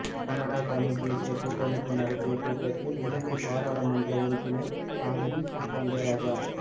Canada தமிழ்த் தேசிய கூட்டமைப்பு நடத்திய கூட்டத்தில் இலங்கைப் பாராளுமன்ற உறுப்பினர் சாந்தினி ஸ்ரீஸ்கந்தராஜா